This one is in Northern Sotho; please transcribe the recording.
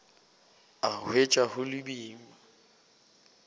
a hwetša go le boima